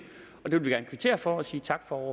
og det vil vi gerne kvittere for og sige tak for